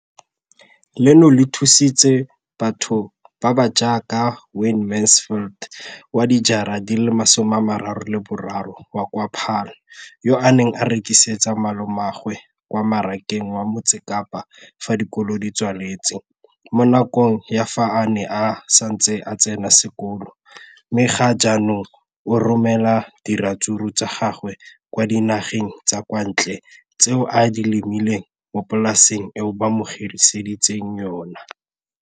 Leno le thusitse batho ba ba jaaka Wayne Mansfield, 33, wa kwa Paarl, yo a neng a rekisetsa malomagwe kwa Marakeng wa Motsekapa fa dikolo di tswaletse, mo nakong ya fa a ne a santse a tsena sekolo, mme ga jaanong o romela diratsuru tsa gagwe kwa dinageng tsa kwa ntle tseo a di lemileng mo polaseng eo ba mo hiriseditseng yona.